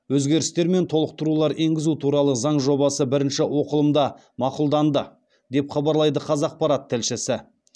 өзгерістер мен толықтырулар енгізу туралы заң жобасы бірінші оқылымда мақұлданды деп хабарлайды қазақпарат тілшісі